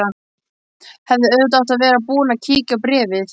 Hefði auðvitað átt að vera búin að kíkja á bréfið.